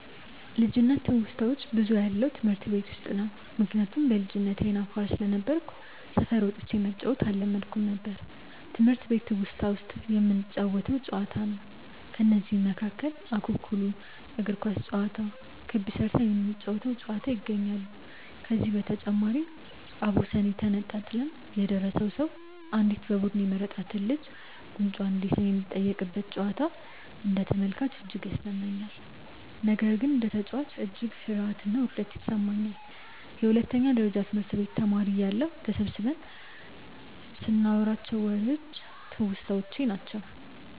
ልጅነት ትውስታዋች ብዙውን ያለው ትምህርት ቤት ውስጥ ነው። ምክንያቱም በልጅነቴ አይነ አፋር ስለነበርኩ ሰፈር ወጥቼ መጫዎትን አለመድኩም ነበር። ትምህርት ቤት ትውስታ ውስጥ የምንጫወተው ጨዋታ ነው። ከነዚህም መካከል እኩኩሉ፣ እግር ኳስ ጨዋታ፣ ክብ ስርተን የምንጫወ ተው ጨዋታ ይገኛሉ። ከዚህ በተጨማሪም አቦሰኔ ተጣጥለን የደረሰው ሰው አንዲት በቡዱኑ የተመረጥች ልጅን ጉንጯን እንዲስም የሚጠየቅበት ጨዋታ አንደ ተመልካች እጅግ ያዝናናኛል። ነገር ግን እንደ ተጨዋች እጅግ ፍርሀትና ውርደት ይሰማኛል። የሁለተኛ ደረጀ ትምህርት ቤት ተማሪ እያለሁ ተሰብስበን ይንናዋራቸው ዎሬዎች ትውስታዎቼ ናቸው።